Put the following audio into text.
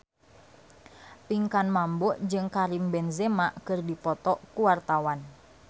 Pinkan Mambo jeung Karim Benzema keur dipoto ku wartawan